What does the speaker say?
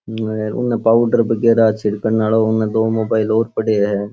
उने पाउडर वगेरा छिडकनालो अने दो मोबाइल और पड़े है।